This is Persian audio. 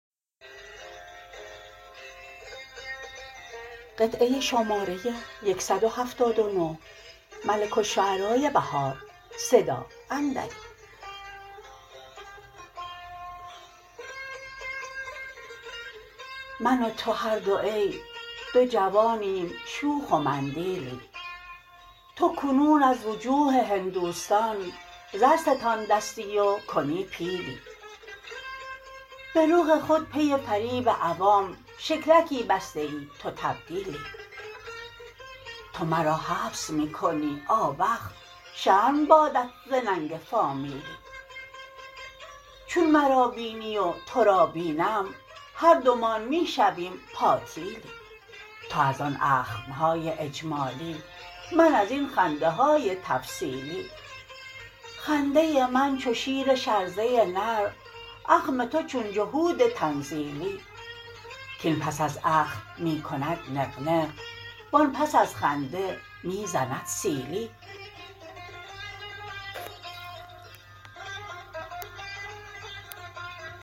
من و تو هر دو ای دو جوانیم شوخ و مندیلی تو کنون از وجوه هندوستان زر ستاندستی و کنی پیلی به رخ خود پی فریب عوام شکلکی بسته ای تو تبدیلی تو مرا حبس می کنی آوخ شرم بادت ز ننگ فامیلی چون مرا بینی و تو را بینم هر دومان می شویم پاتیلی تو از آن اخم های اجمالی من ازین خنده های تفصیلی خنده من چو شیر شرزه نر اخم تو چون جهود تنزیلی کاین پس از اخم می کند نغ نغ وآن پس از خنده می زند سیلی